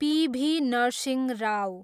PV. Narasimha Rao